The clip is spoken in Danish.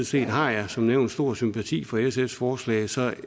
set har jeg som nævnt stor sympati for sfs forslag så